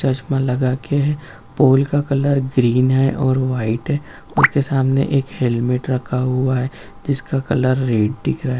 चश्मा लगाके है पोल का कलर ग्रीन है और व्हाइट है उसके सामने एक हेलमेट रखा हुआ है जिसका कलर रेड दिख रहा है।